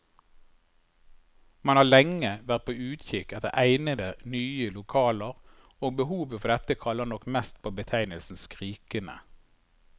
Man har lenge vært på utkikk etter egnede, nye lokaler, og behovet for dette kaller nok mest på betegnelsen skrikende.